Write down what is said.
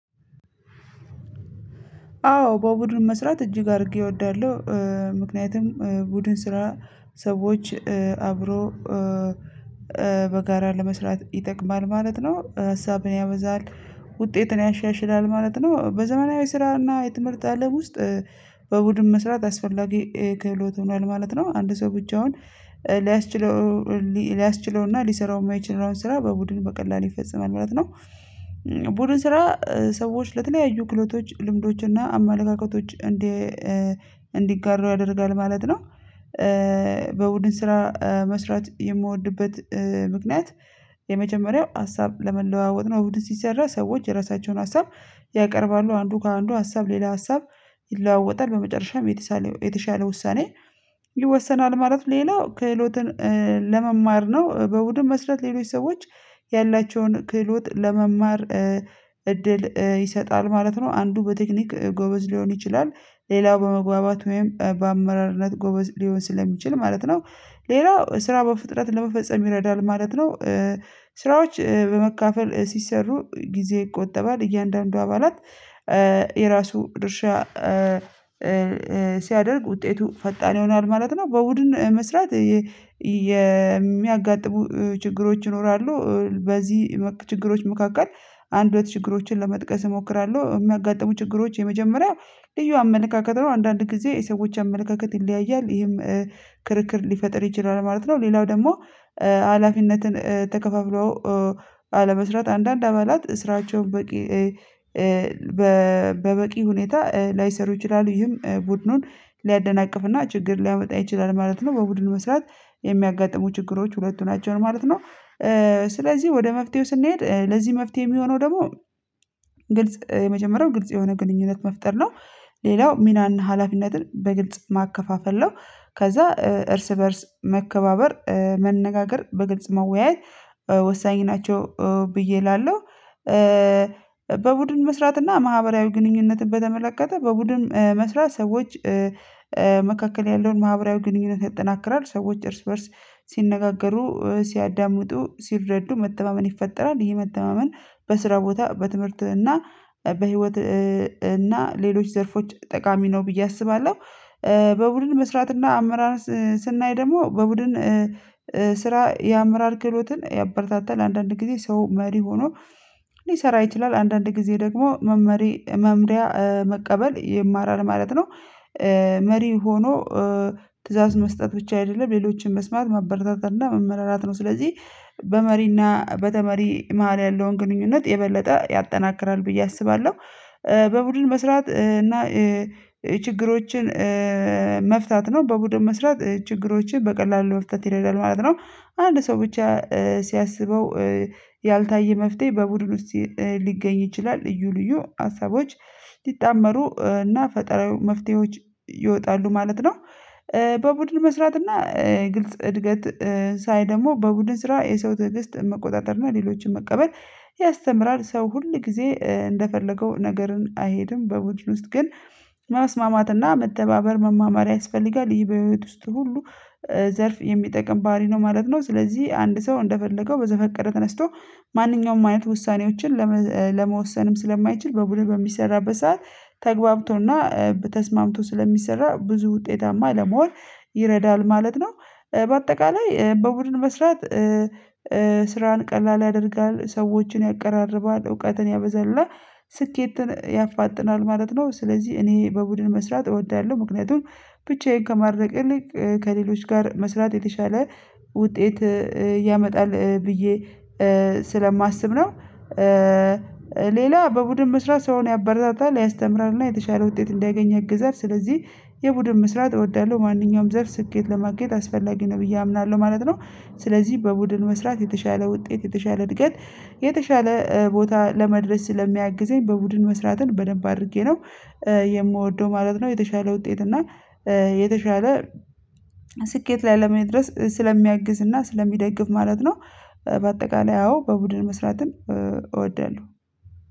አዎ በቡድን መስራት እጅግ አድርጌ እወዳለሁ። ምክንያቱም ቡድን ስራ ሰዎች አብሮ በጋራ ለመስራት ይጠቅማል ማለት ነው። ሀሳብን ያበዛል። ውጤትን ያሻሽላል ማለት ነው። በዘመናዊ ስራና የትምህርት አለም ውስጥ በቡድን መስራት አስፈላጊ ክህሎት ሆኗል ማለት ነው። አንድ ሰው ብቻውን ሊያስችለው ሊያስችለውና ሊሰራው የማይችለውን ስራ በቡድን በቀላሉ ይፈጽማል ማለት ነው። ቡድን ስራ ሰዎች ለተለያዩ ክህሎቶች ልምዶች እና አመለካከቶች እንዲ እንዲጋራው ያደርጋል ማለት ነው። በቡድን ስራ መስራት የምወድበት ምክንያት የመጀመሪያው ሀሳብ ለመለዋወጥ ነው። በቡድን ሲሰራ ሰዎች የራሳቸውን ሀሳብ ያቀርባሉ አንዱ ከአንዱ ሀሳብ ሌላ ሀሳብ ይለዋወጣል በመጨረሻም የተሻለ የተሻለ ውሳኔ ይወሰናል። ማለት ሌላው ክህሎትን ለመማር ነው። በቡድን መስራት ሌሎች ሰዎች ያላቸውን ክህሎት ለመማር እድል ይሰጣል ማለት ነው። አንዱ በቴክኒክ ጎበዝ ሊሆን ይችላል ሌላው በመግባባት ወይም በአመራርነት ጎበዝ ሊሆን ስለሚችል ማለት ነው። ሌላው ስራ በፍጥነት ለመፈጸም ይረዳል ማለት ነው። ስራዎች በመካፈል ሲሰሩ ጊዜ ይቆጠባል እያንዳንዱ አባላት የራሱ ድርሻ ሲያደርግ ውጤቱ ፈጣን ይሆናል ማለት ነው። በቡድን መስራት የሚያጋጥሙ ችግሮች ይኖራሉ በዚህ መክ ችግሮች መካከል አንድ ሁለት ችግሮችን ለመጥቀስ እሞክራለሁ። የሚያጋጥሙ ችግሮች የመጀመሪያው ልዩ አመለካከት ነው አንዳንድ ጊዜ የሰዎች አመለካከት ይለያያል ይሄም ክርክር ሊፈጥር ይችላል ማለት ነው። ሌላው ደግሞ ሀላፊነትን ተከፋፍሎ አለመስራት አንዳንድ አባላት ስራቸውን በቂ በበቂ ሁኔታ ላይሰሩ ይችላሉ ይህም ቡድኑን ሊያደናቅፍና ችግር ሊያመጣ ይችላል ማለት ነው። በቡድን መስራት የሚያጋጥሙ ችግሮች ሁለቱ ናቸው ማለት ነው። ስለዚህ ወደ መፍትሄው ስንሄድ ለዚህ መፍትሄ የሚሆነው ደግሞ ግልጽ የመጀመሪያው ግልጽ የሆነ ግንኙነት መፍጠር ነው። ሌላው ሚናና ሀላፊነትን በግልጽ ማከፋፈል ነው። ከዛ እርስ በእርስ መከባበር መነጋገር በግልጽ መወያየት ወሳኝ ናቸው ብዬ እላለሁ። በቡድን መስራትና ማህበራዊ ግንኙነትን በተመለከተ በቡድን መስራት ሰዎች መካከል ያለውን ማህበራዊ ግንኙነት ያጠናክራል። ሰዎች እርስ በእርስ ሲነጋገሩ ሲያዳምጡ ሲረዱ መተማመን ይፈጠራል ይሄ መተማመን በስራ ቦታ በትምህርት እና በህይወት እና ሌሎች ዘርፎች ጠቃሚ ነው ብዬ አስባለሁ። በቡድን መስራት እና አመራር ስናይ ደግሞ በቡድን ስራ የአመራር ክህሎትን ያበረታታል ለአንዳንድ ጊዜ ሰው መሪ ሆኖ ሊሰራ ይችላል አንዳንድ ጊዜ ደግሞ መመሪ መምሪያ መቀበል ይማራል ማለት ነው። መሪ ሆኖ ትእዛዝ መስጠት ብቻ አይደለም ሌሎችን መስማት ማበረታታት እና መምራራት ነው ስለዚህ በመሪና በተመሪ መሃል ያለውን ግንኙነት የበለጠ ያጠናክራል ብዬ አስባለሁ። በቡድን መስራት እና ችግሮችን መፍታት ነው በቡድን መስራት ችግሮችን በቀላሉ መፍታት ይችላል ማለት ነው። አንድ ሰው ብቻ ሲያስበው ያልታየ መፍትሄ በቡድኑ ውስጥ ሊገኝ ይችላል ልዩ ልዩ ሀሳቦች ሊጣመሩ እና ፈጥነው መፍትሄዎች ይወጣሉ ማለት ነው። በቡድን መስራት እና ግልጽ እድገት ሳይ ደግሞ በቡድን ስራ የሰው ትዕግስት መቆጣጠር እና ሌሎችን መቀበል ያስተምራል ሰው ሁል ጊዜ እንደፈለገው ነገርን አይሄድም በውድድር ውስጥ ግን ማስማማትና መተባበር መማማር ያስፈልጋል ይህ በህይወት ውስጥ ሁሉ ዘርፍ የሚጠቅም ባህሪ ነው ማለት ነው። ስለዚህ አንድ ሰው እንደፈለገው በዘፈቀደ ተነስቶ ማንኛውም አይነት ውሳኔዎችን ለመ ለመወሰንም ስለማይችል በቡድን በሚሰራበት ሰዓት ተግባብቶና ተስማምቶ ስለሚሰራ ብዙ ውጤታማ ለመውን ይረዳል ማለት ነው። በአጠቃላይ በቡድን መስራት ስራን ቀላል ያደርጋል ሰዎችን ያቀራርባል እውቀትን ያበዛል ስኬትን ያፋጥናል ማለት ነው። ስለዚህ እኔ በቡድን መስራት እወዳለሁ ምክንያቱም ብቻዬን ከማድረግ ይልቅ ከሌሎች ጋር መስራት የተሻለ ውጤት ያመጣል ብዬ ስለማስብ ነው። ሌላ በቡድን መስራት ሰውን ያበረታታል ያስተምራልና የተሻለ ውጤት እንዲያገኝ ያግዛል ስለዚህ የቡድን መስራት እወዳለሁ ማንኛውም ዘርፍ ስኬት ለማግኘት አስፈላጊ ነው ብዬ አምናለሁ ማለት ነው። ስለዚህ በቡድን መስራት የተሻለ ውጤት የተሻለ እድገት የተሻለ ቦታ ለመድረስ ስለሚያግዘኝ በቡድን መስራትን በደንብ አድርጌ ነው የምወደው ማለት ነው። የተሻለ ውጤት እና የተሻለ ስኬት ላይ ለመድረስ ስለሚያግዝ እና ስለሚደግፍ ማለት ነው። በአጠቃላይ አወ በቡድን መስራትን እወዳለሁ።